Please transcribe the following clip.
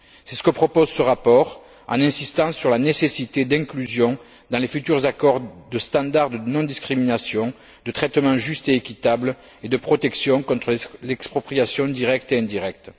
C'est ce que propose ce rapport, en insistant sur la nécessité d'inclusion, dans les futurs accords, de standards de non discrimination, de traitement juste et équitable et de protection contre l'expropriation directe et indirecte.